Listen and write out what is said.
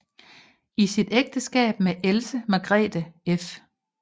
I sit ægteskab med Else Margrethe f